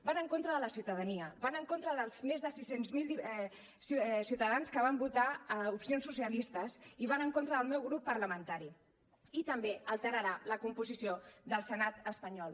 van en contra de la ciutadania van en contra dels més de sis cents miler ciutadans que van votar opcions socialistes i van en contra del meu grup parlamentari i també alterarà la composició del senat espanyol